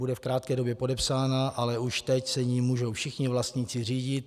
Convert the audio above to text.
Bude v krátké době podepsána, ale už teď se jí můžou všichni vlastníci řídit.